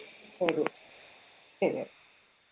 ശരി ശരി